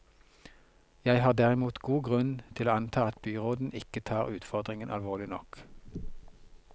Jeg har derimot god grunn til å anta at byråden ikke tar utfordringen alvorlig nok.